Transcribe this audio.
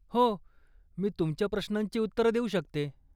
हो, मी तुमच्या प्रश्नांची उत्तरं देऊ शकते.